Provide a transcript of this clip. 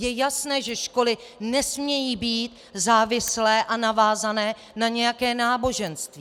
Je jasné, že školy nesmějí být závislé a navázané na nějaké náboženství.